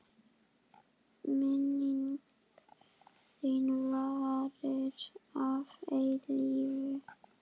Minning þín varir að eilífu.